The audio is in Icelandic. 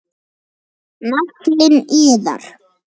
Naflinn iðar.